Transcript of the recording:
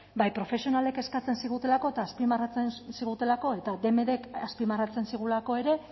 bai profesionalek eskatzen zigutelako eta azpimarratzen zigutelako eta dmdk azpimarratzen zigulako ere